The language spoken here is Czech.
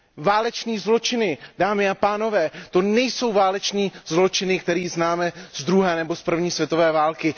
Válečné zločiny, dámy a pánové, to nejsou válečné zločiny, které známe z druhé nebo z první světové války.